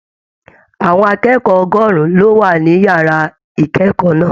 Àwọn akẹ́kọ̀ọ́ ọgọrùn lo wà ní yàrá ikẹkọọ náà.